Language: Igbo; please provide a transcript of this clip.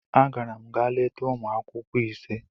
Agara m ga leta ụmụ akwụkwọ ise.